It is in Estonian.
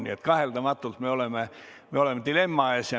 Nii et kaheldamatult me oleme dilemma ees.